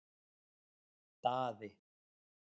Daði